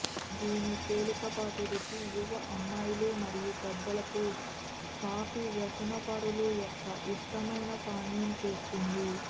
దీని తేలికపాటి రుచి యువ అమ్మాయిలు మరియు పెద్దలకు కాఫీ వ్యసనపరులు యొక్క ఇష్టమైన పానీయం చేస్తుంది